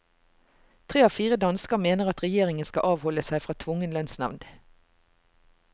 Tre av fire dansker mener at regjeringen skal avholde seg fra tvungen lønnsnevnd.